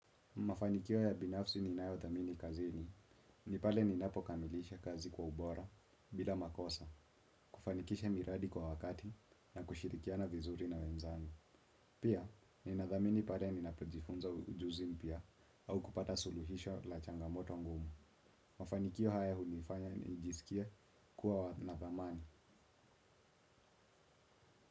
Mafanikio ya binafsi ninayo thamini kazini. Ni pale ninapo kamilisha kazi kwa ubora bila makosa, kufanikisha miradi kwa wakati na kushirikiana vizuri na wenzangu. Pia, nina dhamini pale ni napojifunza ujuzi mpya au kupata suluhisho la changamoto ngumu. Mafanikio haya hunifanya nijisikie kuwa na thamani.